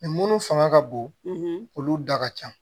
munnu fanga ka bon olu da ka ca